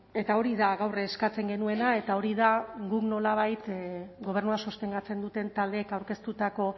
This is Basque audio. eta hori da gaur eskatzen genuena eta hori da guk nolabait gobernua sostengatzen duten taldeek aurkeztutako